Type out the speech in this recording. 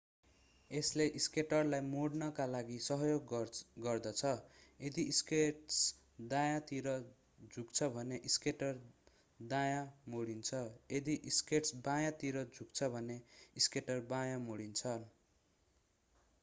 यसले स्केटरलाई मोड्नका लागि सहयोग गर्दछ यदि स्केट्स दायाँतिर झुक्छ भने स्केटर दायाँ मोडिन्छ यदि स्केट्स बायाँतिर झुक्छ भने स्केटर बायाँ मोडिन्छ